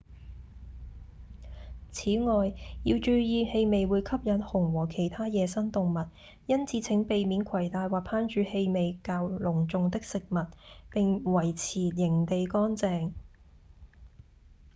此外要注意氣味會吸引熊和其他野生動物因此請避免攜帶或烹煮氣味濃重的食物並維持營地乾淨